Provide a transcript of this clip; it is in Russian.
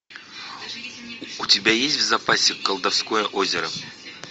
у тебя есть в запасе колдовское озеро